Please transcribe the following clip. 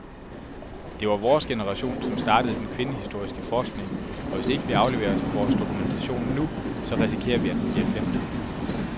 Det var vores generation, som startede den kvindehistoriske forskning, og hvis ikke vi afleverer vores dokumentation nu, så risikerer vi, at den bliver glemt.